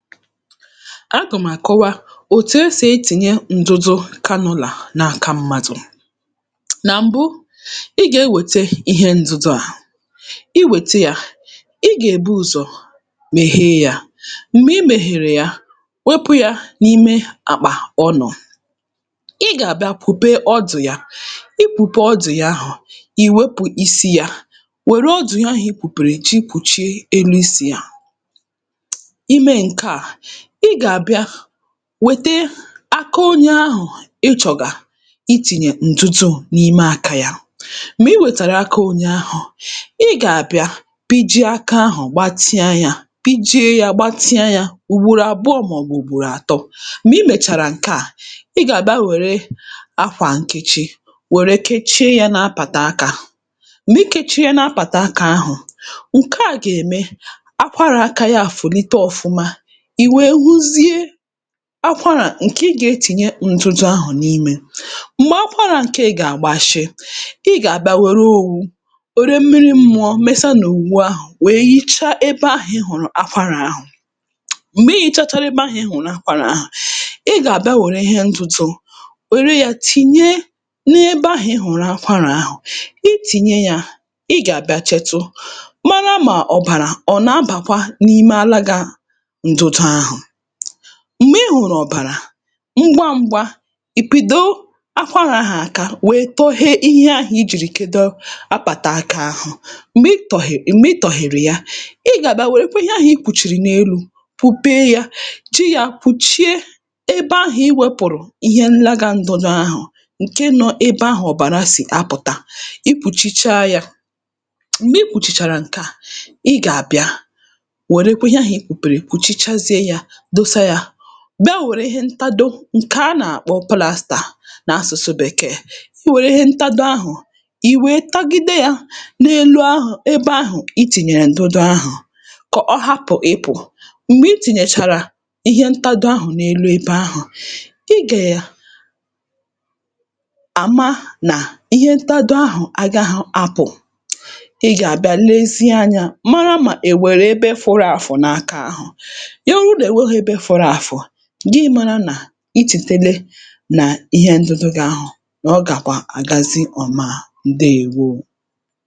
agà m̀ àkọwa òtù e sì etìnye ǹdụdụ canula n’aka mmadụ̀ nà m̀bụ ị gà-ewète ihe ǹdụdụ à ị wète yā ị gà-èbu ụzọ̀ mehee yā m̀gbè i mèhèrè ya wopū yā n'ime akpà ọ nọ̀ ị gà-abịa kwùpee ọdụ̀ ya i kwùpee ọdụ̀ ya ahụ̀ i wepù isi yā wère ọdụ̀ ihe ahụ̀ i kwùpèrè ji kwùchie enu isi yā i mee ṅ̀ke à ị gà-àbịa wòte aka onye ahụ̀ ị chọ̀gà itìnyè ǹdudu n’ime aka yā m̀gbè i wètèrè aka onye ahụ̀ ị gà-àbịa pijie aka ahụ̀ gbatịa yā pijie yā gbatịa yā ùgbòrò àbụọ mạọbụ ùgbòrò àtọ m̀gbè i mèchàrà ṅ̀ke à ị gà-àbịa wère akwà nkechi wère kechie yā n’apàtà akā m̀gbè i kechiēnē apàtà aka ahụ̀ ṅ̀ke à gà-ème akwarà akā yā ạ̀fụ̀lite ọfụma ì wèe huzie akwara ṅ̀kè ị gà-etìnye ndụdụ ahụ̀ n’imē m̀gbè akwarā ṅkeè gà-àgbashị ị gà-àbịa wère owu wère mmiri mmụọ̄ mese n’òwu ahụ̀ wèe hichaa ebe ahụ̀ ị hụ̀rụ̀ akwarà ahụ̀ m̀gbè i hīchāchārā ebe ahụ̀ ị hụ̀rụ̀ akwarà ahụ̀ ị gà-àbịa wère ihe ntụtụ wère yā tìnye n’ebe ahụ̀ ị hụ̀rụ̀ akwarà ahụ i tìnye yā ị gà-àbịa chẹtụ màrà mà ọ̀ bàrà ọ nà-abàkwa n’ime alagā ndụdụ ahụ̀ m̀gbè ị hụrụ̀ ọ̀bàrà ṅgwa ṅ̄gwā ì pìdo akwarà ahụ̀ aka wèe tọhee ihe ahụ̀ i jì kedo apàtà akā ahụ̀ m̀gbè i tọ̀hè m̀gbè i tọ̀hère ya ị gà-àbịa wèrekwa ihe ahụ̀ i kwùchìrì n’enu kwùpee yā ji yā kwùchie ebe ahụ̀ i wēpụ̀rụ̀ ihe nlagā ndụdụ ahụ̀ ṅ̀ke nọ̄ ebe ahụ̀ ọ̀bàrà sì apụ̀ta i kpùchichaa yā m̀gbè i kpùchìchàrà ṅ̀ke à ị gà-àbịa wèrekwa ihe ahụ̀ i kwùpèrè kwùchichazie yā dosa yā bịa wère ihe ntado ṅ̀kè a nà-àkpọ plsster n’asụ̀sụ bèkeè i wère ihe ntado ahụ̀ i wèe tagide yā n’elu ahụ̀ ebe ahụ̀ i tìnyèrè ǹdụdụ ahụ̀ kà ọ hapụ̀ ịpụ̀ m̀gbè i tìnyèchàrà ihe ntado ahụ̀ n‘elu ebe ahụ̀ ị gè à àma nà ihe ntadoahụ̀ agāhụ̄ apụ̀ ị gà-àbịa lezie anyā mara mà è nwèrè ebe fụrụ àfụ̀ n’aka ahụ̀ ị hụ nà ò nweghī ebe fụrụ àfụ̀ gị mārā nà i chìtile nà ihe ǹdụdụ gị ahụ nà ọ gàkwà àgazi ọma ǹdeèwo